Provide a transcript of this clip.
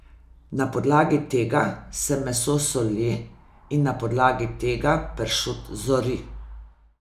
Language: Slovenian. Na podlagi tega se meso soli in na podlagi tega pršut zori.